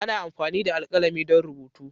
Ana amfani da alkalami don rubutu.